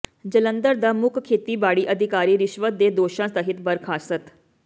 ਜਲੰਧਰ ਦਾ ਮੁੱਖ ਖੇਤੀਬਾੜੀ ਅਧਿਕਾਰੀ ਰਿਸ਼ਵਤ ਦੇ ਦੋਸ਼ਾਂ ਤਹਿਤ ਬਰਖ਼ਾਸਤ